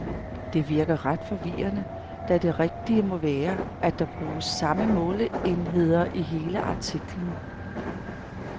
Det virker ret forvirrende, da det rigtige må være, at der bruges samme måleenheder i hele artiklen.